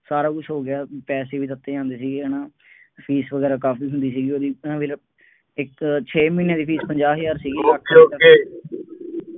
ਸਾਰਾ ਕੁੱਛ ਹੋ ਗਿਆ, ਪੈਸੇ ਵੀ ਦਿੱਤੇ ਜਾਂਦੇ ਸੀਗੇ ਹੈ ਨਾ, ਫੀਸ ਵਗੈਰਾ ਕਾਫੀ ਹੁੰਦੀ ਸੀਗੀ ਉਹਦੀ, ਇੱਕ ਛੇ ਮਹੀਨਿਆਂ ਦੀ ਫੀਸ ਪੰਜਾਹ ਹਜ਼ਾਰ ਸੀਗੀ, okay okay